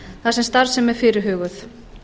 þar sem starfsemi er fyrirhuguð